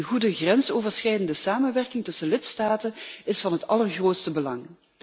Een goede grensoverschrijdende samenwerking tussen lidstaten is van het allergrootste belang.